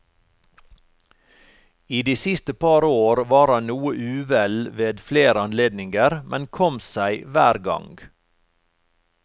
I de siste par år var han noe uvel ved flere anledninger, men kom seg hver gang.